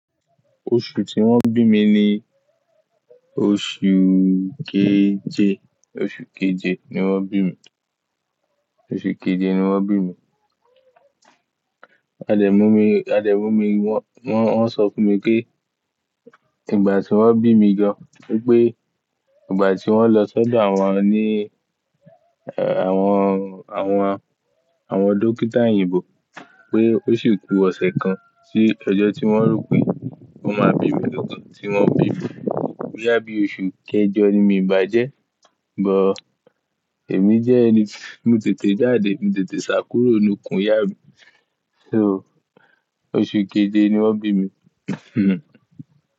Oṣù tí wọ́n bí mi ni oṣù keje, oṣù keje ni wọ́n bí mi, oṣù keje ni wọ́n bí mi. À dẹ́ mu mi, à dẹ́ mu mi wọ́, wọ́n sọ fún mi pé ìgbà tí wọ́n bí mi gan wipé ìgbà tí wọ́n lọ sọ́dọ̀ àwọn ọ̀ní, àwọn, àwọn, àwọn dókítà òyìnbó pé ó sì kú ọ̀sẹ̀ kan sí ọjọ́ tí wọ́n rò pé wọ́n máa bí mi lọ́kàn tí wọ́n bí mi. Boya bi oṣù kẹjọ ni mí bá jẹ́, but èmi jẹ́ ẹni tí mo tètè jáde, mo tètè ṣàkúrò nù kún ìyá mi. So oṣù keje ni wọ́n bí mi.